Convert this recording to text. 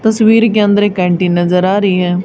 तस्वीर के अंदर एक कैंटीन नजर आ रही है।